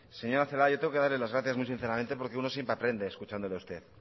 señora celaá yo tengo que darle las gracias muy sinceramente porque uno siempre aprende escuchándole a usted